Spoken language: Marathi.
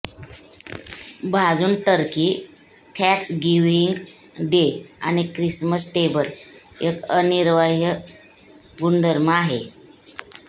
भाजून टर्की थँक्सगिव्हिंग डे आणि ख्रिसमस टेबल एक अनिवार्य गुणधर्म आहे